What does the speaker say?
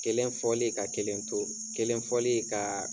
Kelen fɔli ka kelen to, kelen fɔli kaa